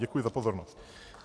Děkuji za pozornost.